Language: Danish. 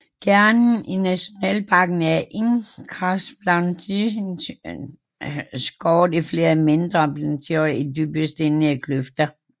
Kernen i nationalparken er et karstplateau skåret i flere mindre plateauer af dybe stenede kløfter